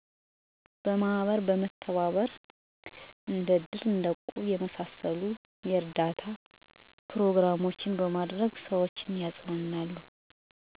በአካባቢው ሰዎች ችግር ደረሰባቸው ከተባለ ማህበረሰቡ በተለያዩ የየጥሪ መልክቶች እንዲሰሙ ይደረጋል። በዚህም ጊዜ ማህበረሰቡ ወዲያውኑ ይሰባሰብና ችግር ለገጠመው ሰው እርዳታ ያደርጋል። እንደ እድርና ማህበር የመሳሰሉ ነገሮች በማህበረሰቡ ውስጥ ስላሉ ችግሩ የተረጋጋ ከሆነ ወይም ሲረጋጋ ችግር ላጋጠመው አካል በእድሩና በማህበሩ አማካኝነት እርዳታ ይደረግለታል